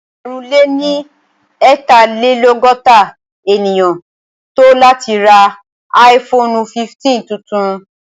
Ẹgbẹ̀rún lé ní eetalelogota ènìyàn tò láti ra áífoonu 15 tuntun